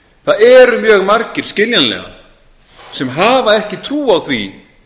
það eru mjög margir skiljanlega sem hafa ekki trú á því